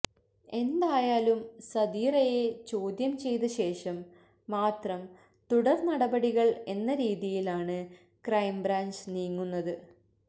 എന്തായാലും സദീറയെ ചോദ്യം ചെയ്തശേഷം മാത്രം തുടർ നടപടികൾ എന്ന രീതിയിലാണ് ക്രൈംബ്രാഞ്ച് നീങ്ങുന്നത്